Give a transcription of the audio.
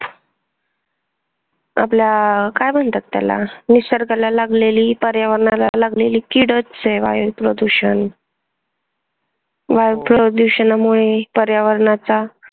आपला काय म्हणतात त्याला निसर्गाला लागलेली, पर्यावरणाला लागलेली कीडच आहे वायू प्रदूषण. वायू प्रदुषणामुळे पर्यावरणाचा